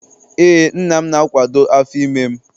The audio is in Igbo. Ee, nna m na-akwado afọ ime m